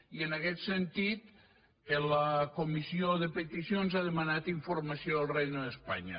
i en aquest sentit la comissió de peticions ha demanat informació al reino de españa